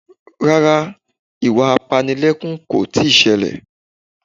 Rárá, ìwà apanilẹ́kún kò tíì ṣẹlẹ̀